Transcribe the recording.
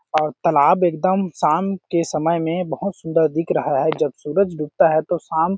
और तालाब एकदम शाम के समय में बहुत सुन्दर दिख रहा है जब सूरज डूबता है तो शाम--